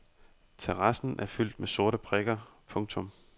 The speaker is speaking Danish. Terrassen er fyldt med sorte prikker. punktum